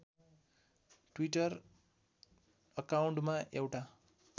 Twitter अकाउन्टमा एउटा